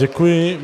Děkuji.